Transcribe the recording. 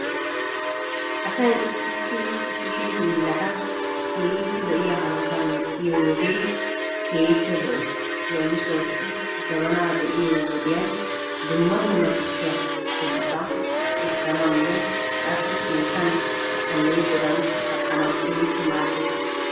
Asay issi issi kushe hiillata keehi lo'iyaa hanotan medhdhiyoogee keehippe lo'ees. Leemisuwassi jabanaa be'iyo wodiyan dumma dumma tukkiyaa qommota essanawunne qassi keettan aleeqodan kaqqanawu keehippe maaddees.